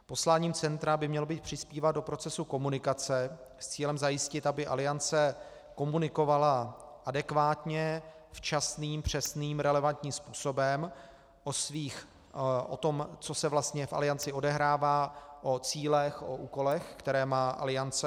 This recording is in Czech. Posláním centra by mělo být přispívat do procesu komunikace s cílem zajistit, aby Aliance komunikovala adekvátně, včasným, přesným, relevantním způsobem o tom, co se vlastně v Alianci odehrává, o cílech, o úkolech, které má Aliance.